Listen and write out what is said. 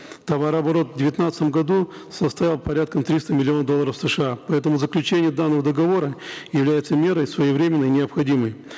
товарооборот в девятнадцатом году составил порядка триста миллионов долларов сша поэтому заключение данного договора является мерой своевременной и необходимой